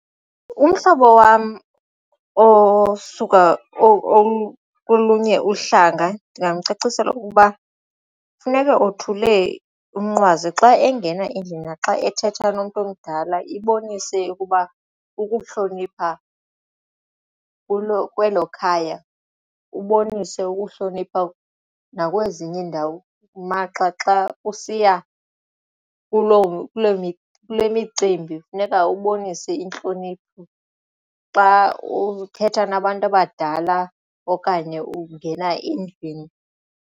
Umhlobo wam osuka kolunye uhlanga ndingamcacisela ukuba funeke othule umnqwazi xa engena endlini naxa ethetha nomntu omdala ibonise ukuba ukuhlonipha kwelo khaya ubonise ukuhlonipha nakwezinye iindawo maxa xa usiya kule micimbi kufuneka ubonise intlonipho xa uthetha nabantu abadala okanye ungena endlwini.